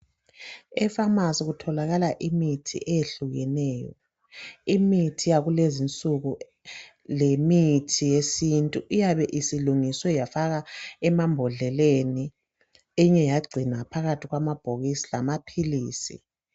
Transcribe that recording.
Efamasi kutholakala imithi eyehlukeneyo. Imithi yakulezinsuku lemithi yesintu iyabe isilungiswe yafakwa emambodleleni eminye yagcinwa phakathi kwamabhokisi lamaphilisi.